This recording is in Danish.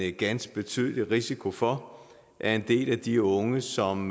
ganske betydelig risiko for at en del af de unge som